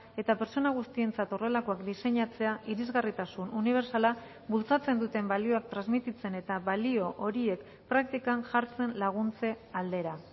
eta pertsona guztientzat horrelakoak diseinatzea irisgarritasun unibertsala bultzatzen duten balioak transmititzen eta balio horiek praktikan jartzen laguntze aldera